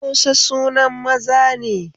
Musa sunan maza ne